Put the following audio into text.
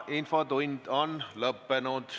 Infotund on lõppenud.